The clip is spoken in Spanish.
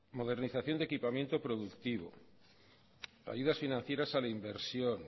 modernización de equipamiento productivo ayudas financieras a la inversión